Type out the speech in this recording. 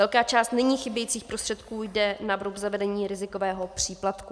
Velká část nyní chybějících prostředků jde na vrub zavedení rizikového příplatku.